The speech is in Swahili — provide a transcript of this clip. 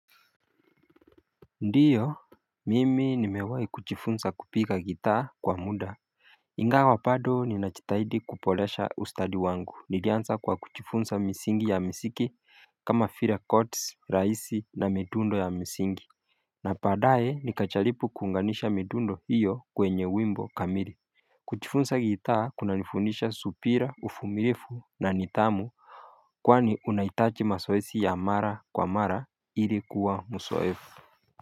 Ndiyo mimi nimewai kujifunza kupiga gitaa kwa muda ingawa bado ninajitahidi kuboresha ustadi wangu nilianza kwa kujifunza misingi ya miziki kama vile courts rahisi na midundo ya misingi na badaye nikajaribu kuunganisha midundo hiyo kwenye wimbo kamili kujifunza gitaa kunanifundisha subira uvumilivu na nidhamu kwani unahitaji mazoezi ya mara kwa mara ili kuwa mzoefu.